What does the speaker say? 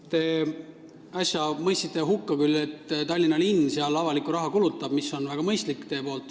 Te mõistsite äsja hukka selle, et Tallinna linn seal avalikku raha kulutab, mis on teie poolt väga mõistlik.